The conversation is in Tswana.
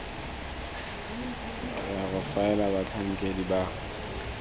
ya go faela batlhankedi ba